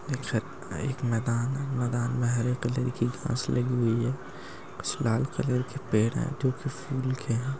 एक सत एक मैदानमैदान मे हरे कलर की फसले हुई है कुछ लाल कलर के पेड़ हैं जो की फूल के हैं।